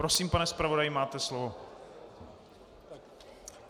Prosím, pane zpravodaji, máte slovo.